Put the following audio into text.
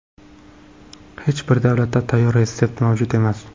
Hech bir davlatda tayyor retsept mavjud emas.